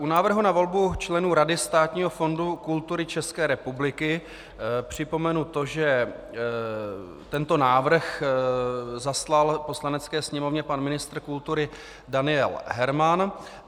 U návrhu na volbu členů Rady Státního fondu kultury České republiky připomenu to, že tento návrh zaslal Poslanecké sněmovně pan ministr kultury Daniel Herman.